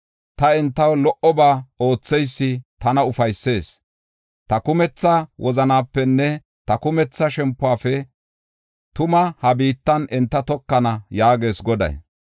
Ta entaw lo77oba ootheysi tana ufaysees; ta kumetha wozanapenne ta kumetha shempuwafe tuma ha biittan enta tokana” yaagees Goday.